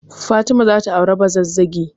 Fatima za ta auri Bazazzagi.